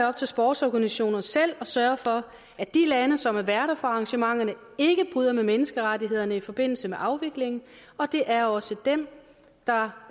op til sportsorganisationerne selv at sørge for at de lande som er værter for arrangementerne ikke bryder med menneskerettighederne i forbindelse med afviklingen og det er også dem der